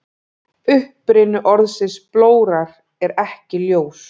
Uppruni orðsins blórar er ekki ljós.